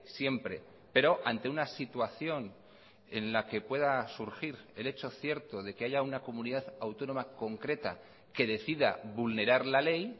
siempre pero ante una situación en la que pueda surgir el hecho cierto de que haya una comunidad autónoma concreta que decida vulnerar la ley